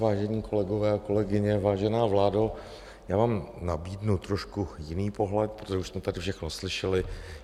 Vážení kolegové a kolegyně, vážená vládo, já vám nabídnu trošku jiný pohled, protože už jsme tady všechno slyšeli.